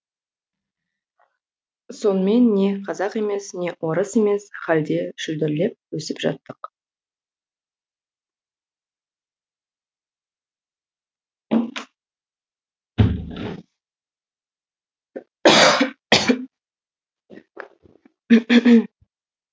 сонымен не қазақ емес не орыс емес халде шүлдірлеп өсіп жаттық